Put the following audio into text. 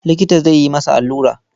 Likita zai yi masa allura.